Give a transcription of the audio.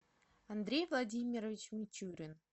андрей владимирович мичурин